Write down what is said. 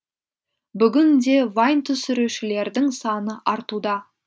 бүгін де вайн түсірушілердің саны артуда